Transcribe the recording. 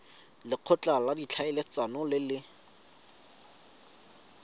lekgotla la ditlhaeletsano le le